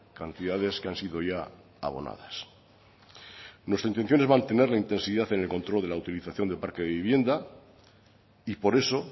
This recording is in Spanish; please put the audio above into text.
cantidades que han sido ya abonadas nuestra intención es mantener la intensidad en el control de la utilización de parque de vivienda y por eso